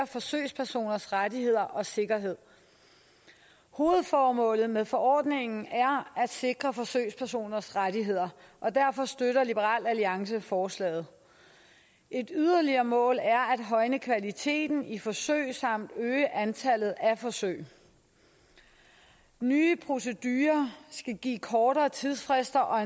forsøgspersoners rettigheder og sikkerhed hovedformålet med forordningen er at sikre forsøgspersoners rettigheder og derfor støtter liberal alliance forslaget et yderligere mål er at højne kvaliteten i forsøg samt øge antallet af forsøg nye procedurer skal give kortere tidsfrister og